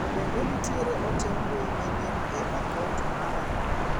To bende nitiere ote mbui manyien e a kaunt mara?